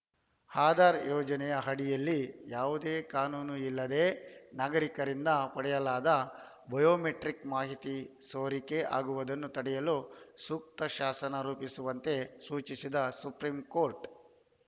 ಆಧಾರ್‌ ಯೋಜನೆಯ ಅಡಿಯಲ್ಲಿ ಯಾವುದೇ ಕಾನೂನು ಇಲ್ಲದೇ ನಾಗರಿಕರಿಂದ ಪಡೆಯಲಾದ ಬಯೋಮೆಟ್ರಿಕ್‌ ಮಾಹಿತಿ ಸೋರಿಕೆ ಆಗುವುದನ್ನು ತಡೆಯಲು ಸೂಕ್ತ ಶಾಸನ ರೂಪಿಸುವಂತೆ ಸೂಚಿಸಿದ ಸುಪ್ರೀಂಕೋರ್ಟ್‌